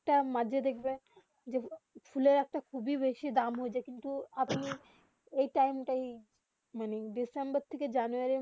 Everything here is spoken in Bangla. তা মাঝে দেখবে ফোলে একটা খুবই বেশি দাম হয়েছে কিন্তু আপনি এই টাইম তা এ ডিসেম্বর থেকে জানুয়ারি